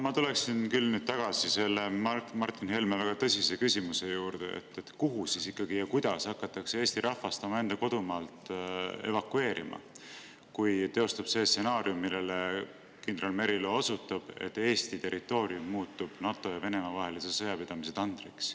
Ma tuleksin nüüd küll tagasi selle Martin Helme väga tõsise küsimuse juurde, kuhu siis ikkagi ja kuidas hakatakse Eesti rahvast omaenda kodumaalt evakueerima, kui teostub see stsenaarium, millele kindral Merilo osutas, et Eesti territoorium muutub NATO ja Venemaa vahelise sõja tandriks.